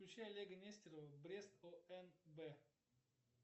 включи олега нестерова брест онб